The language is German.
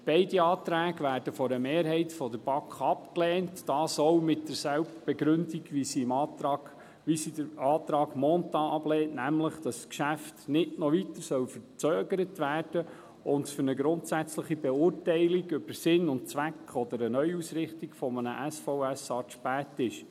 Beide Anträge werden von einer Mehrheit der BaK abgelehnt, dies mit derselben Begründung, mit der sie den Antrag Mentha ablehnt, nämlich, dass das Geschäft nicht noch weiter verzögert werden soll und es für eine grundsätzliche Beurteilung von Sinn und Zweck oder einer Neuausrichtung des SVSA zu spät ist.